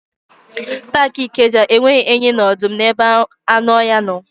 Paakị Ikeja enweghị enyi na ọdụm n'ebe anụ ọhịa ha nọ.